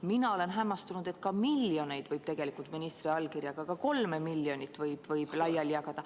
Mina olen hämmastunud, et miljoneid, ka kolme miljonit võib tegelikult ministri allkirjaga laiali jagada.